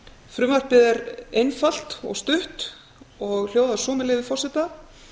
frumvarpið er einfalt og stutt og hljóðar svo með leyfi forseta